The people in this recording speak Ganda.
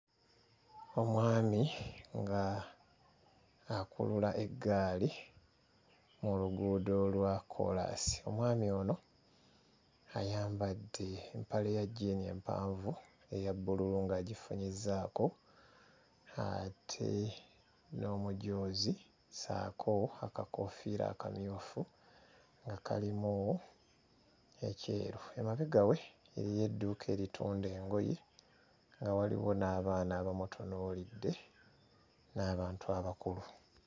Omwami nga akulula eggaali mu lguudo olwa kkoolaasi omwami ono ayambadde empale ya jjiini empanvu eya bbululu ng'agifunyizzaako ate n'omujoozi ssaako akakoofiira akamyufu nga kalimu ekyeru. Emabega we eriyo edduuka eritunda engoye nga waliwo n'abaana abamutunuulidde n'abantu abakulu.